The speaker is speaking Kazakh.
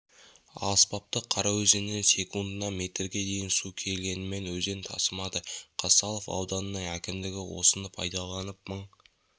аспапты қараөзеннен секундына метрге дейін су келгенімен өзен тасымады қазталов ауданының әкімдігі осыны пайдаланып мың